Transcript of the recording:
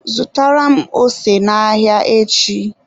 Zụtara m ose n'ahịa echi